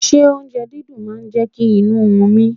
Ṣé oúnjẹ dídùn máa jẹ́ kí inú run mí?